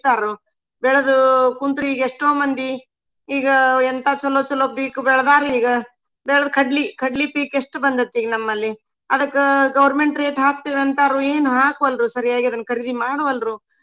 ಬೆಳಿತಾರು ಬೆಳದು ಕುಂತ್ರ ಈಗ ಎಷ್ಟೋ ಮಂದಿ ಈಗ ಎಂತಾ ಚಲೋ ಚಲೋ ಪೀಕ್ ಬೆಳದಾರೀಗ. ಬೇಳದ್ ಕಡ್ಲಿ ಕಡ್ಲಿ ಪೀಕ್ ಎಷ್ಟ ಬಂದೈತಿ ಈಗ ನಮ್ಮಲ್ಲಿ. ಅದಕ್ಕ government rate ಹಾಕ್ತಿವ ಅಂತಾರು ಏನ ಹಾಕ್ವಾಲ್ರು ಸರಿಯಾಗಿ ಅದನ್ನ ಖರೀದಿ ಮಾಡ್ವಾಲ್ರು.